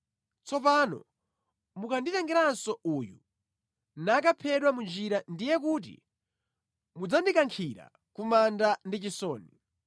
Tsopano mukanditengeranso uyu, nakaphedwa mu njira ndiye kuti mudzandikankhira ku manda ndi chisoni.’